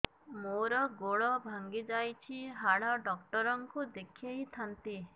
ମୋର ଗୋଡ ଭାଙ୍ଗି ଯାଇଛି ହାଡ ଡକ୍ଟର ଙ୍କୁ ଦେଖେଇ ଥାନ୍ତି